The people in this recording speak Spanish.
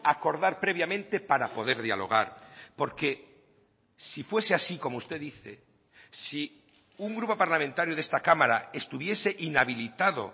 acordar previamente para poder dialogar porque si fuese así como usted dice si un grupo parlamentario de esta cámara estuviese inhabilitado